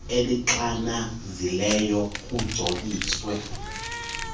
elixananazileyo kujoliswe kuyilo